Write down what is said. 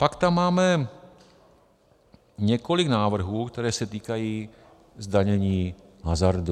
Pak tam máme několik návrhů, které se týkají zdanění hazardu.